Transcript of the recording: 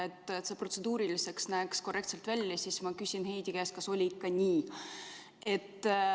Et see protseduuriliselt korrektne välja näeks, siis ma küsin Heidy käest, kas oli ikka nii.